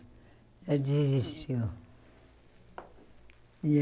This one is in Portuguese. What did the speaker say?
Já desistiu.